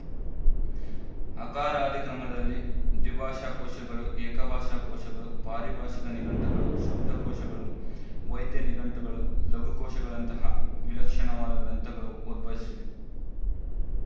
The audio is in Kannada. ಅಕಾರಾದಿ ಕ್ರಮದಲ್ಲೆ ದ್ವಿಭಾಷಾಕೋಶಗಳು ಏಕಭಾಷಾಕೋಶಗಳು ಪಾರಿಭಾಶಿಕ ನಿಘಂಟುಗಳು ಶಬ್ದಕೋಶಗಳು ವೈದ್ಯ ನಿಘಂಟುಗಳು ಲಘುಕೋಶಗಳಂತಹ ವಿಲಕ್ಷಣವಾದ ಗ್ರಂಥಗಳು ಉದ್ಭವಿಸಿವೆ